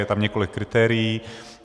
Je tam několik kritérií.